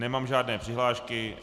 Nemám žádné přihlášky.